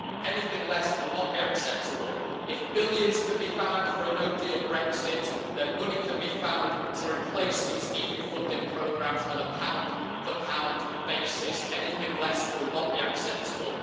Anything less will not be acceptable. If billions can be found for a no deal Brexit, then money can be found to replace these EU funding programmes on a pound-for-pound basis. Anything less will not be acceptable.